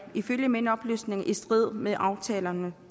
ifølge mine oplysninger i strid med aftalerne